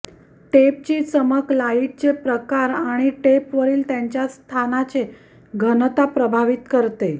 टेपची चमक लाईडचे प्रकार आणि टेपवरील त्यांच्या स्थानाचे घनता प्रभावित करते